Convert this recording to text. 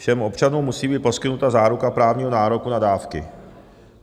Všem občanům musí být poskytnuta záruka právního nároku na dávky.